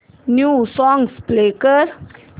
new songs please